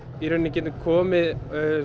getum komið